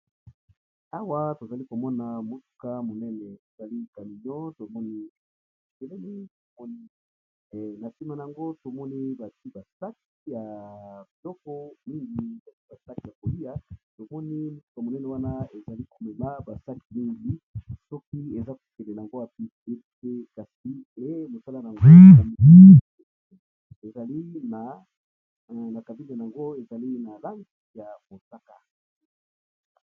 Awa tozali komona motuka monene ali camino na nsima yango somoni basi basake ya biloko mingi basake ya kolia omoni motuka monene wana ezali komeba basak mingi soki eza kokelen yango ya pi ete kasi e mosala anna kavile yango ezali na lanke ya mosaka.